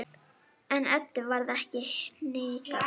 En Eddu varð ekki hnikað.